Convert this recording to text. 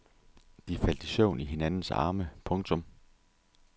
De faldt i søvn i hinandens arme. punktum